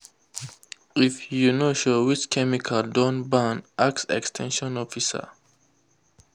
if you no sure which chemical don ban ask ex ten sion officer.